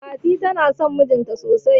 Fatima na son mijinta sosai.